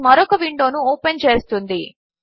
ఇది మరొక విండోను ఓపెన్ చేస్తుంది